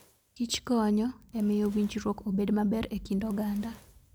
Kich konyo e miyo winjruok obed maber e kind oganda.